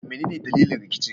Menene dalilin rikicin?